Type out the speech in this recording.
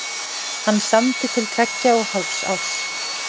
Hann samdi til tveggja og hálfs árs.